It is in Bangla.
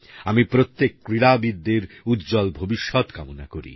আমি প্রত্যেক ক্রীড়াবিদের উজ্জ্বল ভবিষ্যতের কামনা করি